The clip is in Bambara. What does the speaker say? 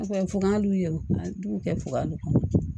fugan dun yɛrɛ a b'u kɛ fuga dun